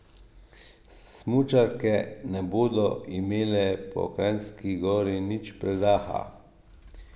Smučarke ne bodo imele po Kranjski Gori nič predaha.